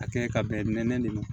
A kɛɲɛ ka bɛn nɛ de ma